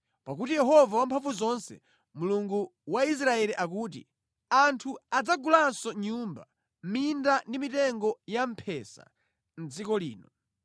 Pakuti Yehova Wamphamvuzonse, Mulungu wa Israeli akuti: Anthu adzagulanso nyumba, minda ndi mitengo yamphesa mʼdziko lino.’ ”